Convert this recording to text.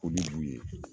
O de b'u ye